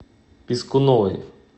пискуновой